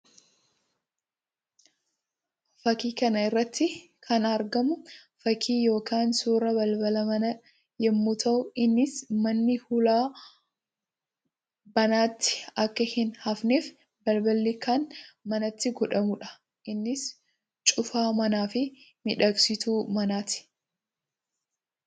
Fakkii kana irratti kan argamu fakkii yookiin suuraa balbala manaa yammuu ta'u; innis manni hulaa banaatti akka hin hafneef balballi kan manatti godhamuu dha. Innis cufaa manaa fi miidhagsituu manaa ti.